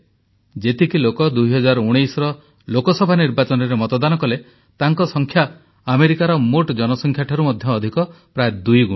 ଯେତିକି ଲୋକ 2019ର ଲୋକସଭା ନିର୍ବାଚନରେ ମତଦାନ କଲେ ତାଙ୍କ ସଂଖ୍ୟା ଆମେରିକାର ମୋଟ ଜନସଂଖ୍ୟାଠାରୁ ମଧ୍ୟ ଅଧିକ ପ୍ରାୟ ଦୁଇଗୁଣ